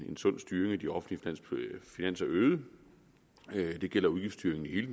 en sund styring af de offentlige finanser øget det gælder udgiftsstyring i